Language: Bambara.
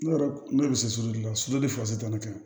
Ne yɛrɛ ne yɛrɛ bɛ se sutulila sini fasugu tɛ ne ka